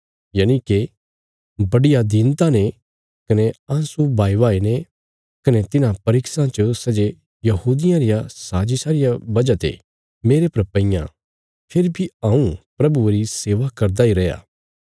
यनिके बड्डिया दीनता ने कने आँसू बहाईबहाई ने कने तिन्हां परीक्षां च सै जे यहूदियां रिया साजिशा रिया वजह ते मेरे परा पईयां फेरी बी हऊँ प्रभुये री सेवा करदा इ रैया